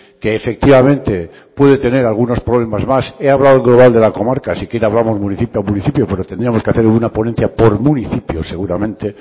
que efectivamente puede tener algunos problemas más he hablado en global de la comarca si quiere hablamos municipio a municipio pero tendríamos que hacer una ponencia por municipios seguramente